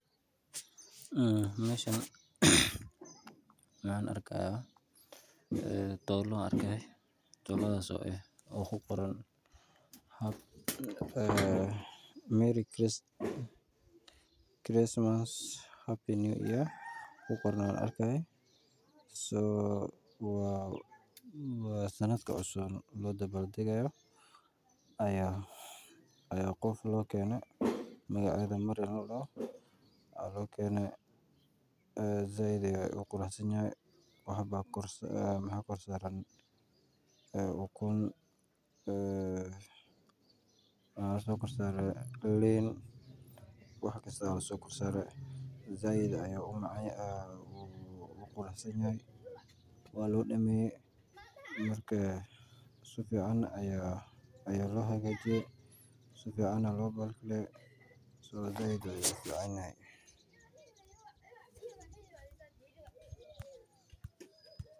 Meeshan waxaan arki haaya doolo oo ku qoran sanad wacan ku oran waa sanadka cusuban loo dabaal dagi haayo sait ayuu quruxsan yahay waxaa kor saaran ukun iyo liin waa loo daweeye sifican ayaa loo hagaajiye.